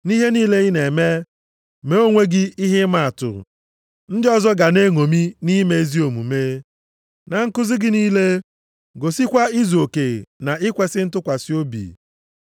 Nʼihe niile ị na-eme, mee onwe gị ihe ịma atụ ndị ọzọ ga na-eṅomi nʼime ezi omume. Na nkuzi gị niile, gosikwa izuoke na ikwesi ntụkwasị obi.